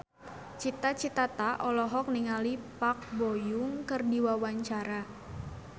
Cita Citata olohok ningali Park Bo Yung keur diwawancara